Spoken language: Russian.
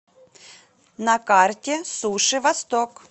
на карте суши восток